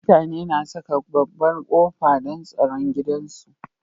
Mutane na Saka babbar qofa, don tsaro gidan su